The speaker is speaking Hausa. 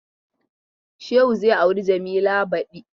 Shehu zai auri Jamila badi.